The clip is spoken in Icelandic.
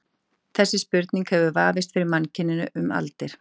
þessi spurning hefur vafist fyrir mannkyninu um aldir